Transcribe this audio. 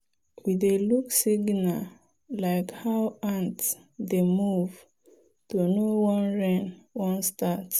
we dey look signal like how ant dey move to know when rain wan start.